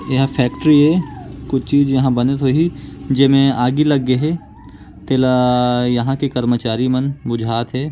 एहा फैक्ट्री ऐ कुछ चीज़ यहाँ बनत होही जेमे आगि लग गे हे तेला यहाँ के कर्मचारी मन बुझात हे।